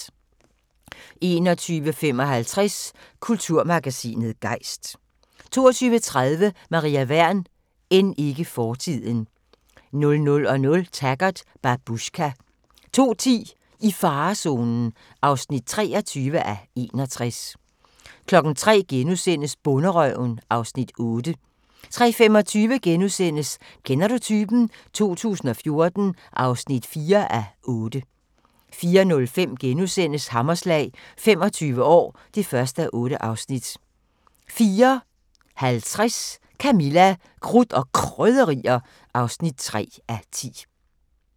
21:55: Kulturmagasinet Gejst 22:30: Maria Wern: End ikke fortiden 00:00: Taggart: Babushka 02:10: I farezonen (23:61) 03:00: Bonderøven (Afs. 8)* 03:25: Kender du typen? 2014 (4:8)* 04:05: Hammerslag – 25 år (1:8)* 04:50: Camilla – Krudt og Krydderier (3:10)